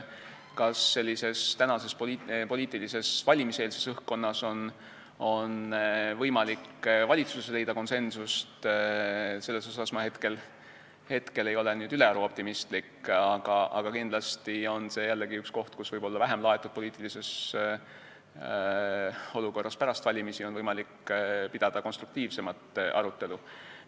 Kas tänases poliitilises, valimiseelses õhkkonnas on võimalik valitsuses leida konsensust, selles ma ei ole ülearu optimistlik, aga kindlasti on see jällegi üks kohti, mille üle võib-olla vähem laetud poliitilises olukorras pärast valimisi on võimalik pidada konstruktiivsemat arutelu.